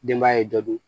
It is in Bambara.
Denbaya ye dɔ don